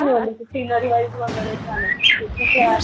scenery वगैरे छान आहेत तिथे